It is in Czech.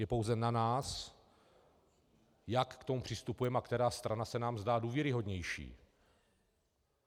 Je pouze na nás, jak k tomu přistupujeme a která strana se nám zdá důvěryhodnější.